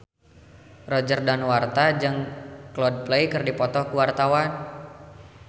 Roger Danuarta jeung Coldplay keur dipoto ku wartawan